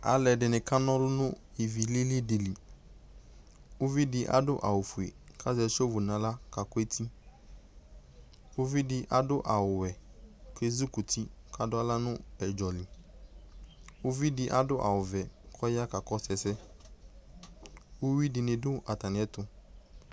Alʋɛdɩnɩ kana ɔlʋ nʋ ivilili dɩ li Uvi dɩ adʋ awʋfue kʋ azɛ sevo nʋ aɣla kakʋ eti Uvi dɩ adʋ awʋwɛ kʋ ezikuti kʋ adʋ aɣla nʋ ʋdzɔ li Uvi dɩ adʋ awʋvɛ kʋ ɔya kakɔsʋ ɛsɛ Uyui dɩnɩ dʋ atamɩɛtʋ